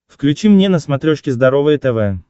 включи мне на смотрешке здоровое тв